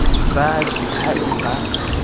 sa d ha e ba